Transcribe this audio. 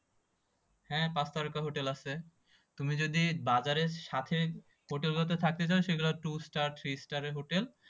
হ্যাঁ, পাঁচ তারকা হোটেল আছে তুমি যদি বাজারের সাথে হোটেল গুলোতে থাকতে চাও সেগুলো two star three star এ হোটেল